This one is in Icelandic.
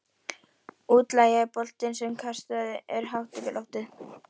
Útlaginn er bolti sem kastað er hátt upp í loftið.